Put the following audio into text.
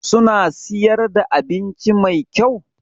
Suna siyar da abinci Mai kyau?